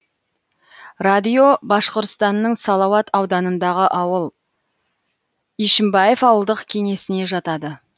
радио башқұртстанның салауат ауданындағы ауыл ишимбаев ауылдық кеңесіне жатады